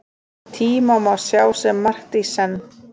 Tíma má sjá sem margt í senn.